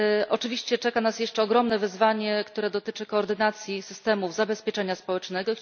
Oczywiście czeka nas jeszcze ogromne wyzwanie, które dotyczy koordynacji systemów zabezpieczenia społecznego.